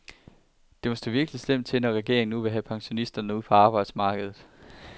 Det må stå virkelig slemt til, når regeringen nu vil have pensionisterne ud på arbejdsmarkedet.